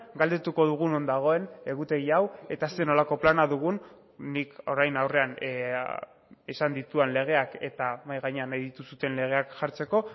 galdetuko dugu non dagoen egutegi hau eta zer nolako plana dugun nik orain aurrean esan ditudan legeak eta mahai gainean nahi dituzuen legeak jartzeko